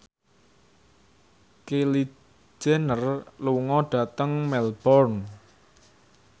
Kylie Jenner lunga dhateng Melbourne